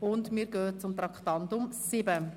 Damit kommen wir zum Traktandum 7: